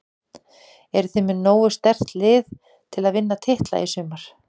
Eruð þið með nógu sterkt lið til að vinna titla í sumar?